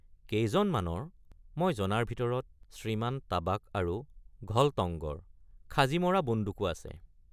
কেইজনমানৰ মই জনাৰ ভিতৰত শ্ৰীমান টাবাক আৰু ঘলটঙ্গৰ খাজি মৰা বন্দুকো আছে।